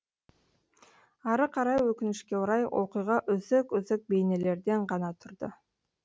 ары қарай өкінішке орай оқиға үзік үзік бейнелерден ғана тұрды